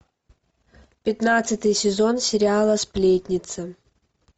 пятнадцатый сезон сериала сплетница